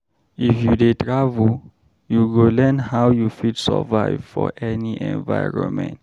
If you dey travel, you go learn how you fit survive for any environment.